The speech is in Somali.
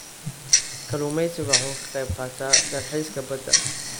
Kalluumaysigu waxa uu ka qayb qaataa dalxiiska badda.